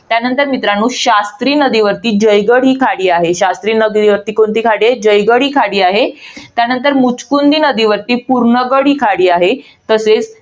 त्यानंतर मित्रांनो, शास्त्री नदीवरती जयगड ही खाडी आहे. शास्त्री नदीवर कोणती खाडी आहे? जयगड ही खाडी आहे. त्यानंतर मुचकुंदी नदीवर पूर्णगड ही खाडी आहे. तसेच